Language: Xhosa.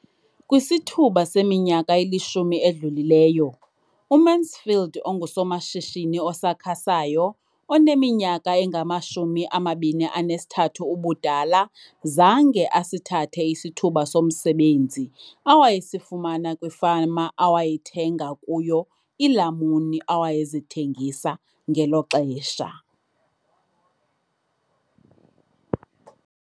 Kwisithuba seminyaka elishumi edlulileyo, uMansfield ongusomashishini osakhasayo oneminyaka engama-23 ubudala, zange asithathe isithuba somsebenzi awayesifumana kwifama awayethenga kuyo iilamuni awayezithengisa ngelo xesha.